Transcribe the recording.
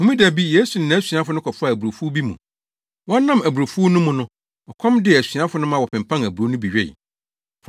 Homeda bi, Yesu ne nʼasuafo no kɔfaa aburowfuw bi mu. Wɔnam aburowfuw no mu no, ɔkɔm dee asuafo no ma wɔpenpan aburow no bi wee.